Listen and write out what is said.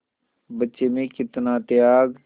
बच्चे में कितना त्याग